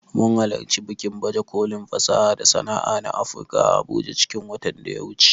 Mun halarci bikin baje kolin fasaha da sana'a na Afurka a abuja cikin watan da ya wuce